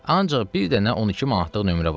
Ancaq bir dənə 12 manatlıq nömrə var.